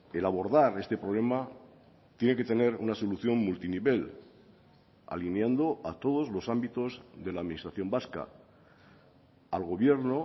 el abordar este problema tiene que tener una solución multinivel alineando a todos los ámbitos de la administración vasca al gobierno